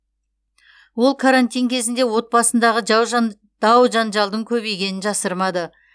ол карантин кезінде отбасындағы жау жан дау жанжалдың көбейгенін жасырмады